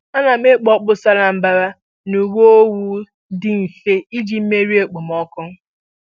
Ana m ekpu okpu sara mbara na uwe owu dị mfe iji merie okpomọkụ.